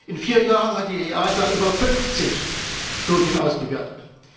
In vier Jahren hat die EASA über 50 Studien ausgewertet.